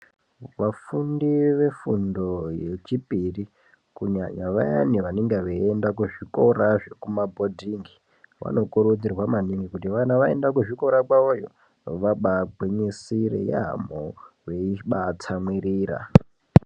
Vafundi vefundo yechipiri kunyanya vayane vanenge vaienda kuzvikora zvekuma bhodhingi vanokurudzirwa maningi kuti vana vaende kuzvikora kwavo iyo vabaagwinyisire yaambo vaizvibaatsamwirira .